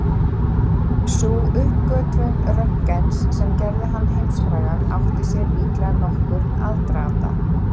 Sú uppgötvun Röntgens sem gerði hann heimsfrægan átti sér líklega nokkurn aðdraganda.